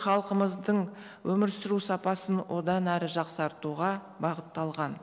халқымыздың өмір сүру сапасын одан әрі жақсартуға бағытталған